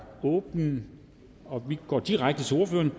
åbnet og vi går direkte til ordførerne